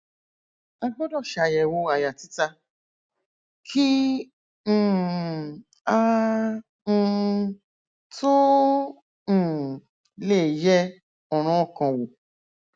a gbọdọ ṣàyẹwò àyà títa kí um a um tó um lè yẹ ọràn ọkàn wò